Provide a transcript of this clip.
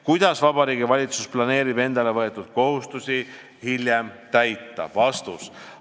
Kuidas Vabariigi Valitsus planeerib endale võetud kohustusi hiljem täita?